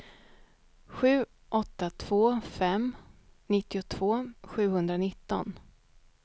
sju åtta två fem nittiotvå sjuhundranitton